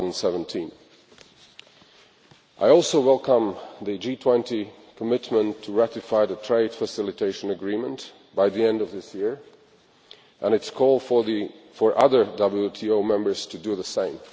2017. I also welcome the G20 commitment to ratifying the Trade Facilitation Agreement by the end of this year and its call for other WTO members to do the same.